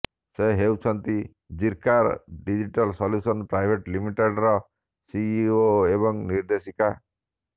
ସେ ହେଉଛନ୍ତି Zirka digital solutions private ଲିମିଟେଡ୍ର ସିଇଓ ଏବଂ ନିର୍ଦେଶିକା